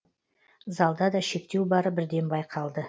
залда да шектеу бары бірден байқалды